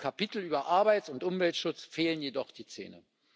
Dem Kapitel über Arbeits und Umweltschutz fehlen jedoch die Zähne.